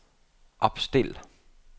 opstil